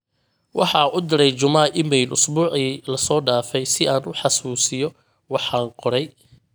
waxaa u diray juma iimeyl usbuucii la soo daafay si aan u xasuusiyo waxan qoray